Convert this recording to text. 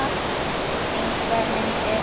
Engar myndir.